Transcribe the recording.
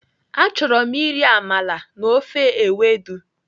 Achọrọ m iri amala na ofe ewedu.